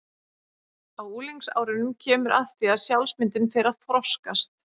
Á unglingsárunum kemur að því að sjálfsmyndin fer að þroskast.